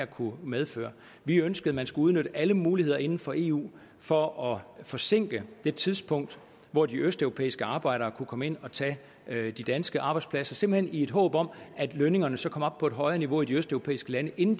kunne medføre vi ønskede at man skulle udnytte alle muligheder inden for eu for at forsinke det tidspunkt hvor de østeuropæiske arbejdere kunne komme ind og tage de danske arbejdspladser simpelt hen i et håb om at lønningerne så kom op på et højere niveau i de østeuropæiske lande inden